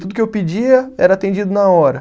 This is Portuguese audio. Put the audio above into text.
Tudo que eu pedia era atendido na hora.